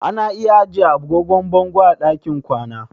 Ana iya ajiye agogon bango a ɗakin kwana.